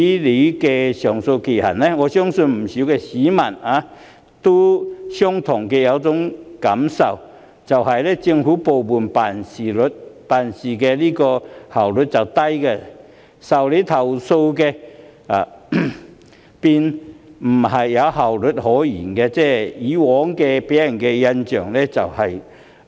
我相信不少市民也有同感，那就是政府部門辦事效率低，在處理投訴方面，更沒效率可言，一直給人效率極低的印象。